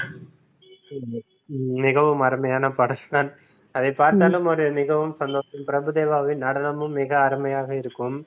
மிகவும் அருமையான பாடல்தான் அதை பார்த்தாலும் ஒரு மிகவும் சந்தோஷம் பிரபுதேவாவின் நடனமும் மிக அருமையாக இருக்கும்